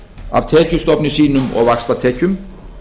af tekjustofni sínum og vaxtatekjum